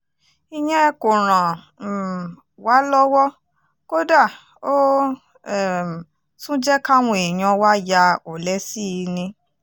ìyẹn kò ràn um wá lọ́wọ́ kódà ó um tún jẹ́ káwọn èèyàn wá ya ọ̀lẹ sí i ni